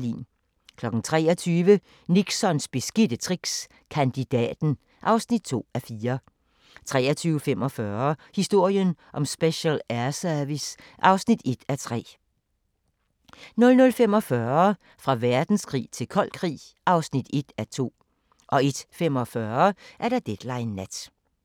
23:00: Nixons beskidte tricks – Kandidaten (2:4) 23:45: Historien om Special Air Service (1:3) 00:45: Fra verdenskrig til kold krig (1:2) 01:45: Deadline Nat